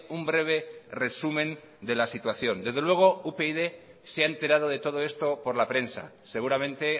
un breve resumen de la situación desde luego upyd se ha enterado de todo esto por la prensa seguramente